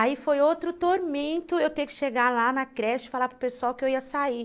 Aí foi outro tormento eu ter que chegar lá na creche e falar para o pessoal que eu ia sair.